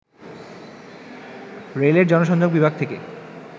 রেলের জনসংযোগ বিভাগ থেকে